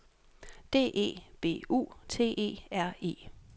D E B U T E R E